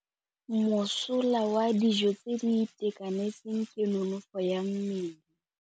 Mosola wa dijô tse di itekanetseng ke nonôfô ya mmele.